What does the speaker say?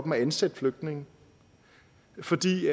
at ansætte flygtninge fordi